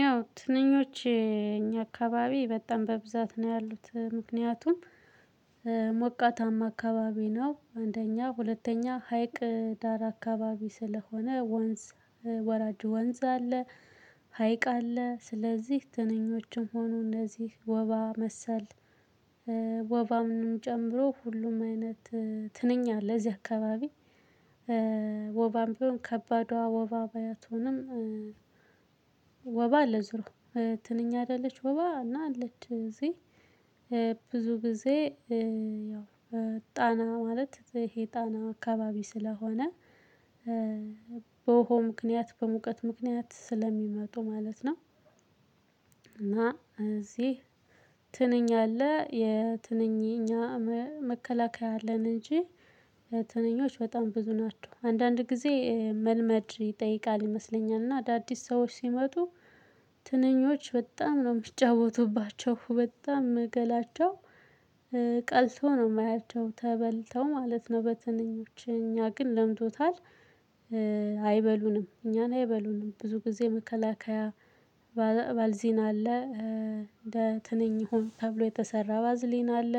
ያው ትንኞች እኛ አካባቢ በጣም በብዛት ነው ያሉት ምክንያቱም። አካባቢ ነው አንደኛ ሁለተኛ ሀይቅ ዳር አካባቢ ስለሆነ ወንዝ ወራጁ ወንዝ አለ ሀይቅ አለ ስለዚህ ትንኞችም ሆኑ እነዚህ ወባ መሰል። ወባንም ጨምሮ ሁሉም አይነት ትንኛ ለዚህ አካባቢ። ወባም ቢሆን ከባድ ወባ ባትሆንም። ወባ አለ ዞሮ ትንኛ አይደለች ወባ እና አለች እዚህ። ብዙ ጊዜ ጣና ማለት ይሄ ጣና አካባቢ ስለሆነ በውሃ ምክንያት በሙቀት ምክንያት ስለሚመጡ ማለት ነው። እና እዚህ ትንኛ አለ የትንኝ እኛ መከላከያ አለን እንጂ ትንኞች በጣም ብዙ ናቸው። አንዳንድ ጊዜ መልመድ ይጠይቃል ይመስለኛል። እና አዳዲስ ሰዎች ሲመጡ። በጣም ነው የሚጫወቱባቸው በጣም ገላቸው ቀልቶ ነው የማያቸው ተበልተው ማለት ነው። በትንኞች እኛ ግን ለምዶታል። አይበሉንም እኛን አይበሉንም ብዙ ጊዜ መከላከያ ባልዚን አለ። እንደ ትንኝ ሆኖ ተብሎ የተሰራ ባዝሊን አለ።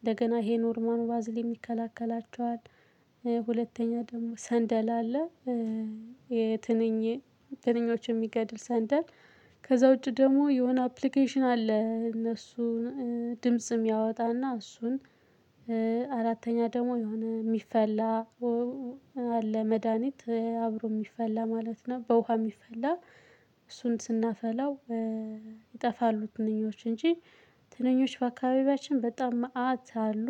እንደገና ይሄ ኖርማሉ ባዝሊን ይከላከላቸዋል ደግሞ ሰንደል አለ። ትንኞች የሚገድል ሰንደል ከዛ ውጪ ደግሞ የሆነ አፕሊኬሽን አለ እነሱን ድምጽም የሚያወጣና እሱን። አራተኛ ደግሞ የሆነ የሚፈላ አለ መድሃኒት አብሮ የሚፈላ ማለት ነው። በውሃ የሚፈላ እሱን ስናፈላው ይጠፋሉ። ትንኞች እንጂ ትንኞች በአካባቢያችን በጣም መአት አሉ።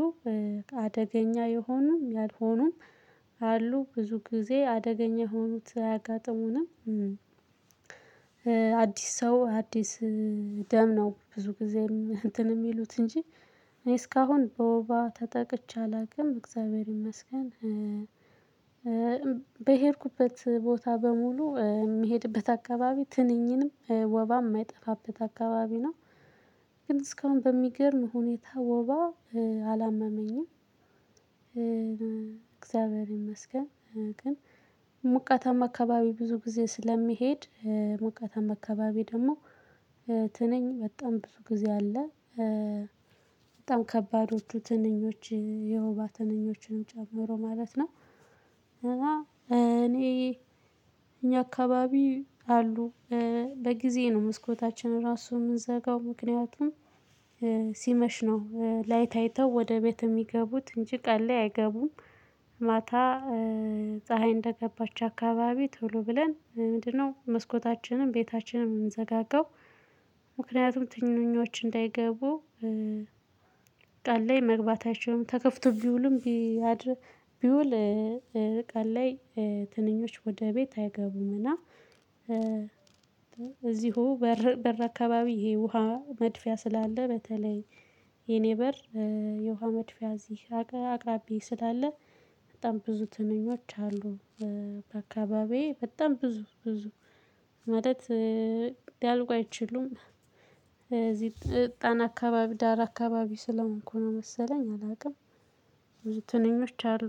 አደገኛ የሆኑም ያልሆኑም አሉ ብዙ ጊዜ አደገኛ የሆኑት አያጋጥሙንም። አዲስ ሰው አዲስ ደም ነው ብዙ ጊዜም እንትን የሚሉት እንጂ እስካሁን በወባ ተጠቅቼ አላውቅም እግዚአብሔር ይመስገን። በሄድኩበት ቦታ በሙሉ የሚሄድበት አካባቢ ትንኝንም ወባም የማይጠፋበት አካባቢ ነው። ግን እስካሁን በሚገርም ሁኔታ ወባ አላመመኝም። እግዚአብሔር ይመስገን ግን ሙቀታማ አካባቢ ብዙ ጊዜ ስለሚሄድ። ሙቀታማ አካባቢ ደግሞ ትንኝ በጣም ብዙ ጊዜ አለ። በጣም ከባዶቹ ትንኞች የወባ ትንኞችንም ጨምሮ ማለት ነው። እና እኔ እኛ አካባቢ አሉ በጊዜ ነው መስኮታችን ራሱ የምንዘጋው ምክንያቱም ሲመሽ ነው ላይት አይተው ወደ ቤት የሚገቡት እንጂ ቀን ላይ አይገቡም። ማታ ፀሀይ እንደገባች አካባቢ ቶሎ ብለን ምንድነው? መስኮታችንን ቤታችንን እንዘጋጋው ምክንያቱም ትንንኞች እንዳይገቡ። ቀን ላይ መግባታችንን ተከፍቶ ቢውሉም ቢውል ቀን ላይ ትንኞች ወደ ቤት አይገቡምና። እዚሁ በር አካባቢ ይሄ ውሃ መድፊያ ስላለ በተለይ የኔ በር የውሃ መድፊያ እዚህ አቅራቢያዬ ስላለ በጣም ብዙ ትንኞች አሉ። በአካባቢዬ በጣም ብዙ ብዙ ማለት ሊያልቁ አይችሉም። እዚህ ጣና አካባቢ ዳር አካባቢ ስለሆንኩ ነው መሰለኝ አላውቅም። ብዙ ትንኞች አሉ።